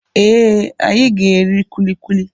Ee, anyị ga-eri kulikuli.